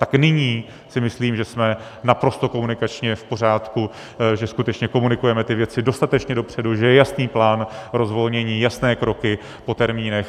Tak nyní si myslím, že jsme naprosto komunikačně v pořádku, že skutečně komunikujeme ty věci dostatečně dopředu, že je jasný plán rozvolnění, jasné kroky, po termínech.